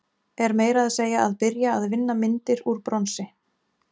Er meira að segja að byrja að vinna myndir úr bronsi.